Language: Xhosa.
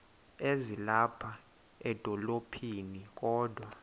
ezilapha edolophini kodwa